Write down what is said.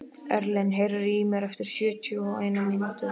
Erlen, heyrðu í mér eftir sjötíu og eina mínútur.